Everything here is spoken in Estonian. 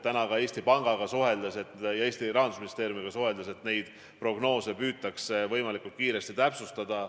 Täna kuulsin Eesti Panga ja Rahandusministeeriumiga suheldes, et prognoose püütakse võimalikult kiiresti täpsustada.